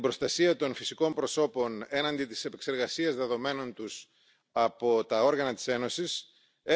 begeben. Unsere Bitte besteht darin da spreche ich in diesem Fall ganz gewiss auch für die anderen Fraktionen Druck zu